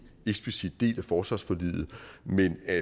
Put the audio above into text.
eksplicit del af forsvarsforliget men at